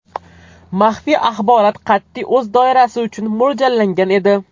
Maxfiy axborot qat’iy o‘z doirasi uchun mo‘ljallangan edi.